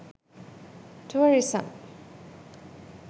tourism